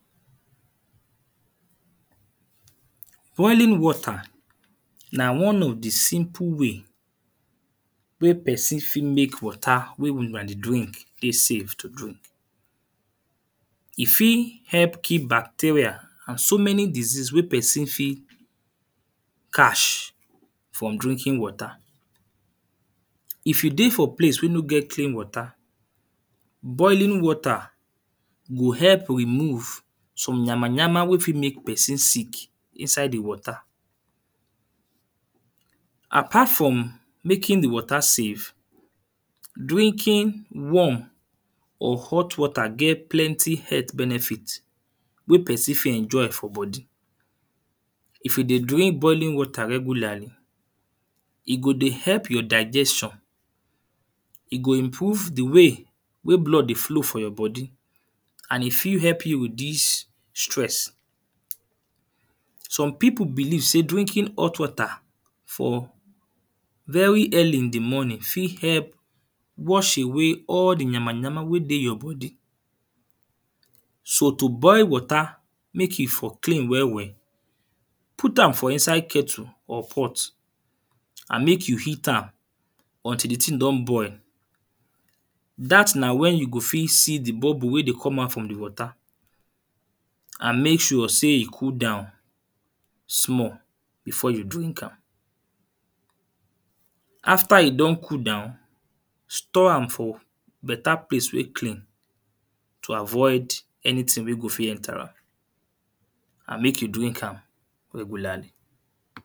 Boiling water na one of the simple way wey person fit make water wey huna dey drink dey safe to drink. E fit help kill bacteria and so many disease wey person fit catch from drinking water. If you dey for place wey no get clean water, boiling water go help remove some yamayam wey fit make person sick inside the water. Apart from making the water safe, drinking warm of hot water get plenty health benefit wey person fit enjoy for body. If you dey drink boiling water regularly, e go dey help your digestion. E go improve the way wey blood dey flow for your body and e fit help you reduce stress. Some people believe sey drinking hot water for very early in the morning fit help wash away all the yamayama wey dey your body. So, to boil water make e for clean well well, put am for inside kettle or pot and make you heat am until the thing don boil. Dat na when you go fit see the bubble wey dey comot from the water. And make sure sey e cool down small before you drink am. After e don cool down, store am for better place wey clean to avoid anything wey go fit enter am. And make you drink am regularly.